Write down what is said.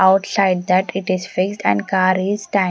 Outside that it is fixed and car is sta --